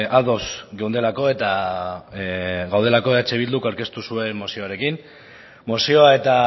ados geundelako eta gaudelako eh bilduk aurkeztu zuen mozioarekin mozioa eta